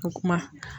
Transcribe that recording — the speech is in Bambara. O kuma